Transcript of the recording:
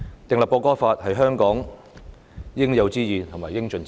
定立《條例草案》是香港應有之義和應盡之責。